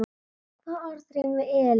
Hvaða orð rímar við Elín?